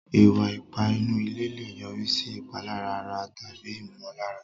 Ìwà ipá inú ilé lè yọrí sí ìpalára ara tàbí ìmọ̀lára.